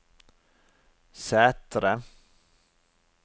Sætre